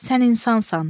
Sən insansan.